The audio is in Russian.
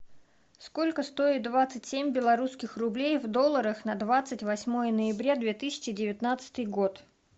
сколько стоит двадцать семь белорусских рублей в долларах на двадцать восьмое ноября две тысячи девятнадцатый год